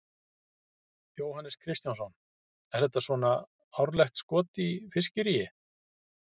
Jóhannes Kristjánsson: Er þetta svona árlegt skot í fiskiríi?